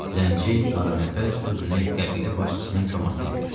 Zənci qaranəfəs özünü qəbilə başçısının komasına yetirdi.